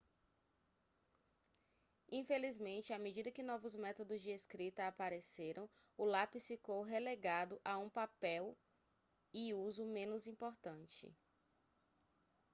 infelizmente a medida que novos método de escrita apareceram o lápis ficou relegado a um papel e uso menos importante